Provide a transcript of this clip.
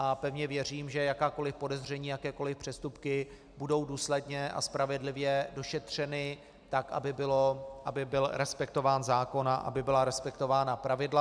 A pevně věřím, že jakákoli podezření, jakékoli přestupky budou důsledně a spravedlivě došetřeny tak, aby byl respektován zákon a aby byla respektována pravidla.